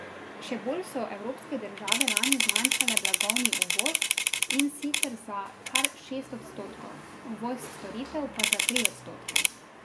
Še bolj so evropske države lani zmanjšale blagovni uvoz, in sicer za kar šest odstotkov, uvoz storitev pa za tri odstotke.